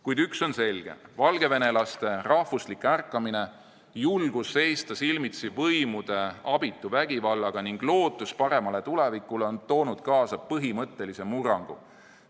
Kuid üks on selge: valgevenelaste rahvuslik ärkamine, julgus seista silmitsi võimude abitu vägivallaga ning lootus paremale tulevikule on toonud kaasa põhimõttelise murrangu.